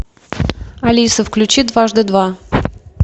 алиса включи дважды два